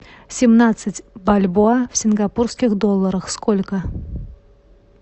семнадцать бальбоа в сингапурских долларах сколько